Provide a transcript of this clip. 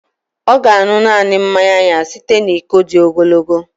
Ọ ga-aṅụ naanị mmanya ya site na iko dị ogologo